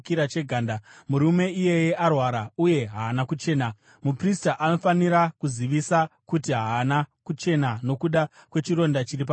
murume iyeye arwara uye haana kuchena. Muprista anofanira kuzivisa kuti haana kuchena nokuda kwechironda chiri pamusoro wake.